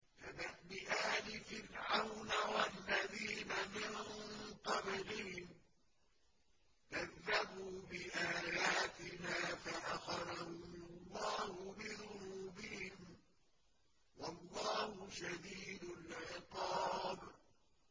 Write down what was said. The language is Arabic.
كَدَأْبِ آلِ فِرْعَوْنَ وَالَّذِينَ مِن قَبْلِهِمْ ۚ كَذَّبُوا بِآيَاتِنَا فَأَخَذَهُمُ اللَّهُ بِذُنُوبِهِمْ ۗ وَاللَّهُ شَدِيدُ الْعِقَابِ